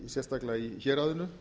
sérstaklega í héraðinu